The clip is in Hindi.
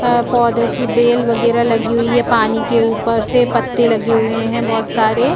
अ पौधो की बेल वगेरा लगी हुई है पानी के ऊपर से पत्ते लगे हुए है बहोत सारे